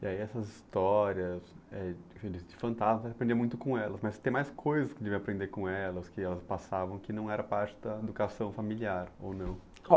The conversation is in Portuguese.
E aí essas histórias eh de de fantasma, aprendia muito com elas, mas tem mais coisas que devia aprender com elas, que elas passavam, que não era parte da educação familiar, ou não?